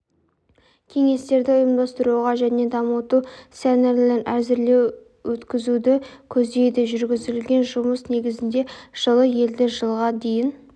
кеңестерді ұйымдастыруға және дамыту сценарилерін әзірлеу өткізуді көздейді жүргізілген жұмыс негізінде жылы елді жылға дейін